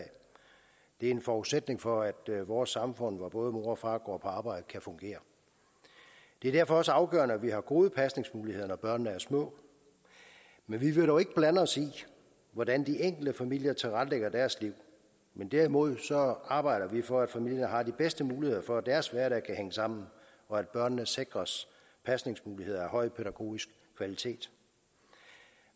det er en forudsætning for at vores samfund hvor både mor og far går på arbejde kan fungere det er derfor også afgørende at vi har gode pasningsmuligheder når børnene er små men vi vil dog ikke blande os i hvordan de enkelte familier tilrettelægger deres liv derimod arbejder vi for at familierne har de bedste muligheder for at deres hverdag kan hænge sammen og at børnene sikres pasningsmuligheder af høj pædagogisk kvalitet